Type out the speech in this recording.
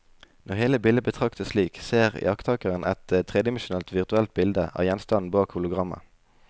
Når hele bildet betraktes slik, ser iakttakeren et tredimensjonalt virtuelt bilde av gjenstanden bak hologrammet.